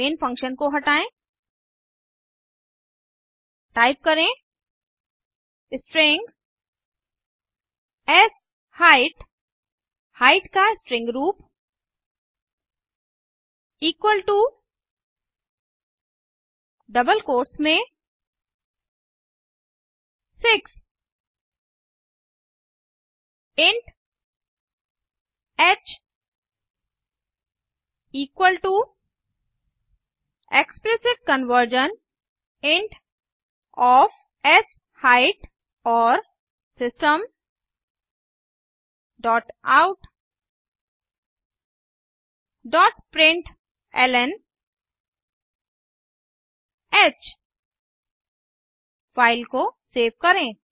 main function को हटायें type करें स्ट्रिंग शाइट हाइट का स्ट्रिंग रूप इक्वल टू डबल कोट्स में 6 इंट ह equal to explicit conversion int of शाइट और system dot out dot println ह फ़ाइल को सेव करें